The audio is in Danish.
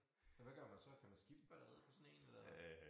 Nåh hvad gør man så kan man skifte batteriet på sådan én eller